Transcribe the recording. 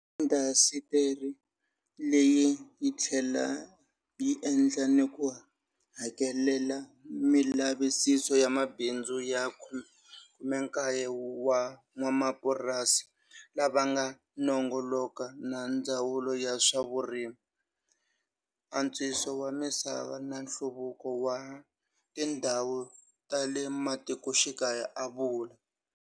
Indasitiri leyi yi tlhele yi endla ni ku hakelela milavisiso ya mabindzu ya 19 wa n'wamapurasi lava nga nongoloka na Ndzawulo ya swa Vurimi, antswiso wa misava na nhluvukiso wa tindhawu ta le matikoxikaya, a vula.